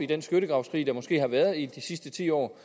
den skyttegravskrig der måske har været i de sidste ti år